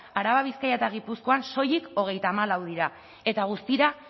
araba bizkaia eta gipuzkoan soilik hogeita hamalau dira eta guztira